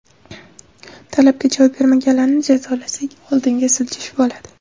Talabga javob bermaganlarni jazolasak, oldinga siljish bo‘ladi.